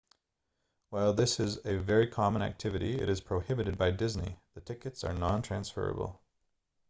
while this is a very common activity it is prohibited by disney the tickets are non-transferable